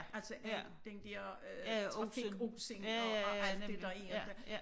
Altså al den dér øh trafikosen og alt det der er dér